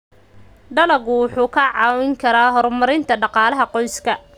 Dalaggu wuxuu kaa caawin karaa horumarinta dhaqaalaha qoyska.